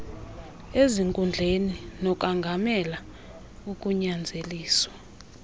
ezinkundleni nokongamela ukunyanzeliswa